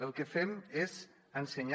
el que fem és ensenyar